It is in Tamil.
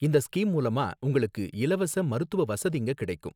இந்த ஸ்கீம் மூலமா உங்களுக்கு இலவச மருத்துவ வசதிங்க கிடைக்கும்